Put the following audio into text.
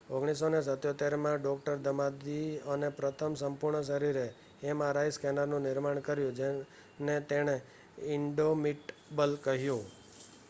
"1977 માં ડો. દમાદિઅને પ્રથમ "સંપૂર્ણ-શરીર" એમઆરઆઈ સ્કેનરનું નિર્માણ પૂર્ણ કર્યું જેને તેણે "ઇંડોમિટબલ" કહ્યું.